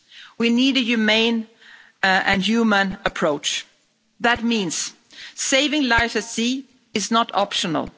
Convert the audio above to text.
We need a humane and human approach. That means saving lives at sea is not optional.